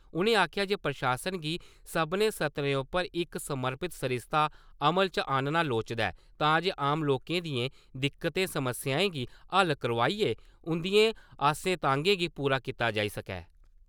उ'नें आखेआ जे प्रशासन गी सभनें स्तरें उप्पर इक समर्पित सरिस्ता अमल च आह्नना लोड़चदा ऐ तां जे आम लोकें दियें दिक्कतें-समस्याएं गी हल करोआइयै उं'दिएं आसें-तांगें गी पूरा कीता जाई सकै ।